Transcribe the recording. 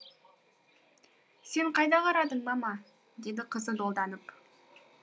сен қайда қарадың мама деді қызы долданып